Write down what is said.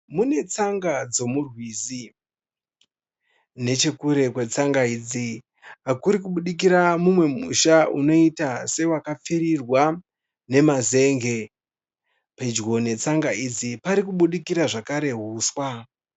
Mune tsanga dzemurwizi nechekure kwetsanga idzi kuri kubudikira musha unoita sewakapfurirwa nemazen'e. Pedyo netsanga idzi pari kubudikira zvakare huswa.